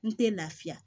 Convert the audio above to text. N tɛ lafiya